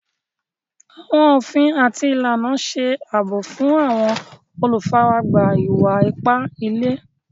Àwọn ofín àti ilànà ṣè abọ̀ fún àwọn olúfáràgbá ìwà-ìpà ìlẹ̀.